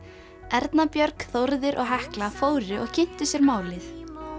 Erna Björg og Hekla fóru og kynntu sér málið